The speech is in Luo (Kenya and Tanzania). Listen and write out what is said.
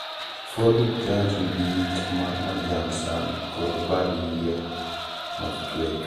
Ford Hook Giant nigi yiit ma majan sana kod bad yiet machwecho.